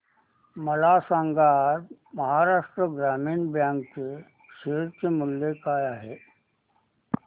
मला सांगा आज महाराष्ट्र ग्रामीण बँक चे शेअर मूल्य काय आहे